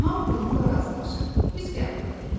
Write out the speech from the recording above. Hamı bununla razılaşır, pis qəbul edir.